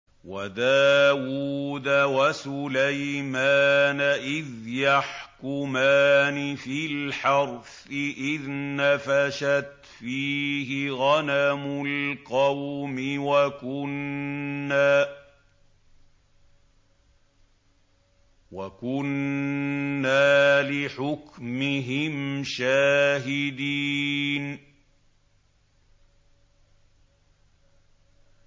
وَدَاوُودَ وَسُلَيْمَانَ إِذْ يَحْكُمَانِ فِي الْحَرْثِ إِذْ نَفَشَتْ فِيهِ غَنَمُ الْقَوْمِ وَكُنَّا لِحُكْمِهِمْ شَاهِدِينَ